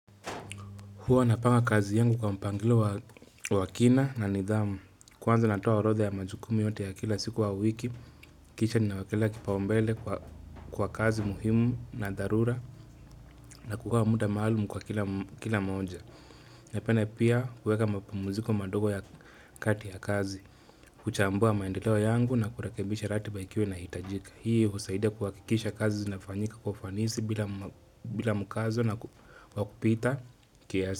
Huwa napanga kazi yangu kwa mpangilio wa kina na nidhamu. Kwanza natoa orodha ya majukumu yote ya kila siku au wiki, kisha ninawakelea kipaombele kwa kazi muhimu na dharura na kugawa muda maalumu kwa kila moja. Napenda pia kuweka mapamuziko madogo ya kati ya kazi, kuchambua maendeleo yangu na kurekebisha ratiba ikiwa inahitajika. Hii husaidia kuhakikisha kazi zinafanyika kwa ufanisi bila bila mukazo wa kupita kiasi.